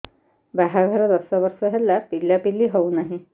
ବାହାଘର ଦଶ ବର୍ଷ ହେଲା ପିଲାପିଲି ହଉନାହି